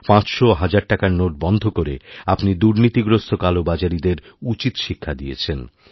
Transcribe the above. পাঁচশো ও হাজারটাকার নোট বন্ধ করে আপনি দুর্নীতিগ্রস্ত কালোবাজারিদের উচিত শিক্ষা দিয়েছেন